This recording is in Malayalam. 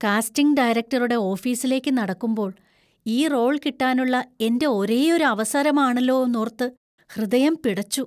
കാസ്റ്റിംഗ് ഡയറക്ടറുടെ ഓഫീസിലേക്ക് നടക്കുമ്പോൾ, ഈ റോള്‍ കിട്ടാനുള്ള എന്‍റെ ഒരേയൊരു അവസരമാണല്ലോന്നോര്‍ത്ത് ഹൃദയം പിടച്ചു.